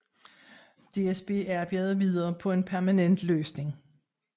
DSB arbejdede videre på en permanent løsning